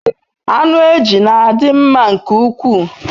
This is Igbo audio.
Anu eju n'adi nma nke ukwu